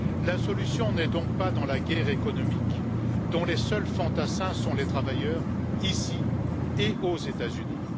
La solution n'est donc pas dans la guerre économique, dont les seuls fantassins sont les travailleurs, ici et aux États Unis.